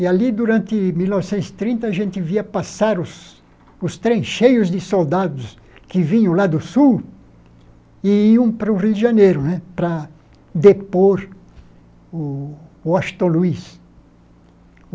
E ali, durante 1930, a gente via passar os os trencheios de soldados que vinham lá do sul e iam para o Rio de Janeiro, né, para depor o o Astor Luiz.